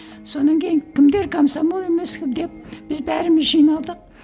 содан кейін кімдер комсомол емес деп біз бәріміз жиналдық